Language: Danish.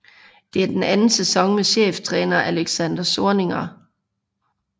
Det er den anden sæson med cheftræner Alexander Zorniger